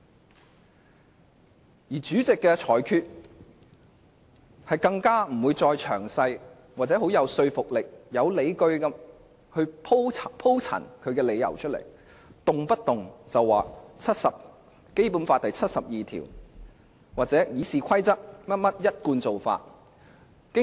更甚的是，主席在作出裁決時並不會詳細或很有說服力地鋪陳其理由，動輒便說他是根據《基本法》第七十二條或按《議事規則》的一貫做法行事。